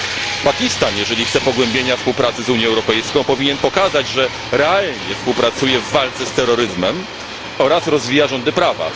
Jeżeli Pakistan chce pogłębienia współpracy z Unią Europejską powinien pokazać, że realnie współpracuje w walce z terroryzmem oraz rozwija rządy prawa.